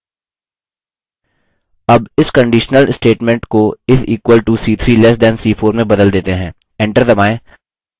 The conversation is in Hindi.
अब इस conditional statement को is equal to c3 less than c4 में बदल देते हैं